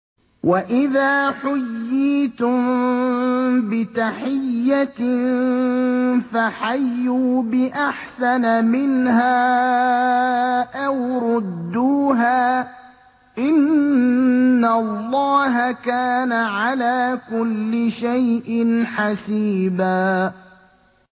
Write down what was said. وَإِذَا حُيِّيتُم بِتَحِيَّةٍ فَحَيُّوا بِأَحْسَنَ مِنْهَا أَوْ رُدُّوهَا ۗ إِنَّ اللَّهَ كَانَ عَلَىٰ كُلِّ شَيْءٍ حَسِيبًا